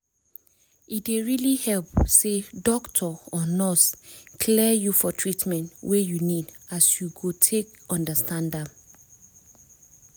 e dey really help say doctor or nurse clear you for treatment wey you need as you go take understand am